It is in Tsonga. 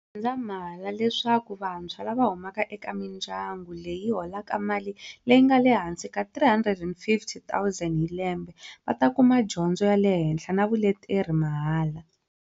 N'wendzamhala leswaku vantshwa lava huma eka mindya ngu leyi yi holaka mali leyi nga le hansi ka R350 000 hi lembe va ta kuma dyondzo ya le henhla na vuleteri mahala.